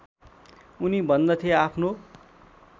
उनी भन्दथे आफ्नो